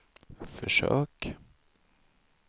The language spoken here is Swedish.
försök